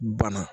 Bana